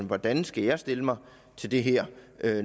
hvordan skal jeg stille mig til det her